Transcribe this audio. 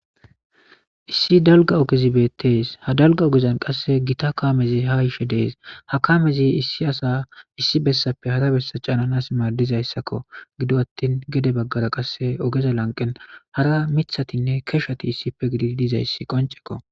Issi dalga ogezi beettes ha dalga ogezan gita kaamezi ha yishe de7ees, ha kaamezi issi asa issi bessappe hara bessa caananas maaddizaysako ,gido attin gede baggara ogeza lanqen miththatinne keshati issippe gididi dizaysi qonceko.